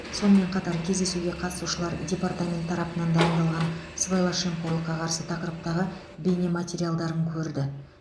сонымен қатар кездесуге қатысушылар департамент тарапынан дайындалған сыбайлас жемқорлыққа қарсы тақырыптағы бейнематериалдарын көрді